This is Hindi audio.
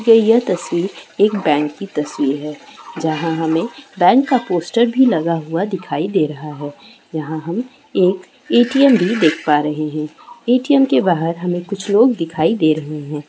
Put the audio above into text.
यह तस्वीर एक बैंक की तस्वीर है जहां हमें बैंक का पोस्टर भी लगा हुआ दिखाई दे रहा है यहां हम एक ए.टी .एम. भी देख पा रहे हैए.टी.एम. के बाहर हमें कुछ लोग दिखाई दे रहे है।